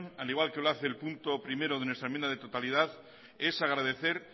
al igual que lo hace el punto primero de nuestra enmienda de totalidad es agradecer